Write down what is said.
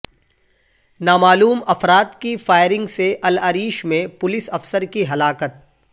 نامعلوم افراد کی فائرنگ سے العریش میں پولیس افسر کی ہلاکت